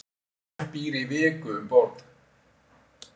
Fólk býr í viku um borð